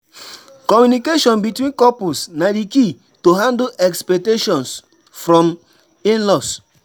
Communication between couples na di key to take handle expectations from in-laws.